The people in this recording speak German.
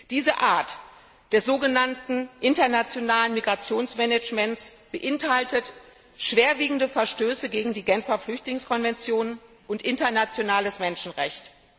Diese Art des so genannten internationalen Migrationsmanagements beinhaltet schwerwiegende Verstöße gegen die Genfer Flüchtlingskonvention und gegen das internationale Menschenrecht.